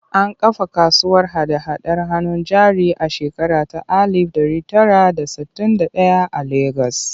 An kafa kasuwar hada-hadar hannun jari a shekara ta alif ɗari tara da sittin da ɗaya a Legas.